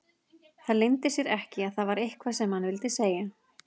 Það leyndi sér ekki að það var eitthvað sem hann vildi segja.